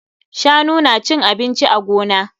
Shanu na cin abinci a gona.